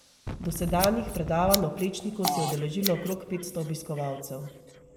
Dosedanjih predavaj o Plečniku se je udeležilo okrog petsto obiskovalcev.